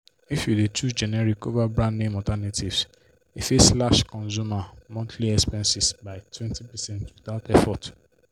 if you dey choose generic over brand-name alternatives e fit slash consumer monthly expenses by 20 percent without effort.